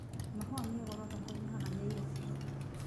Mahũa me goro thoko-inĩ haha Nyairobi